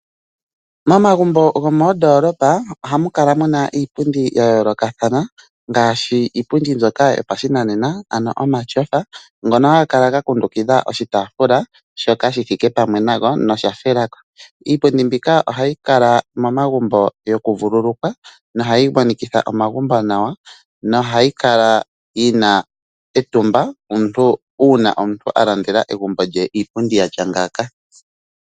Momagumbo gomoondolopa ohamu kala muna iipundi ya yoolokathana ngaashi iipundi mbyoka yopashinanena ano omatyofa, ngono haga kala ga kundukidha oshitaafula shoka shi thike pamwe nago nosha shiga ko. Iipundi mbika ohayi kala momagumbo yoku vululukwa nohayi monikitha omagumbo nawa, nohayi kala yina etumba uuna omuntu a landela egumbo lye iipundi yatya ngaaka.